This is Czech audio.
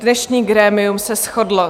Dnešní grémium se shodlo: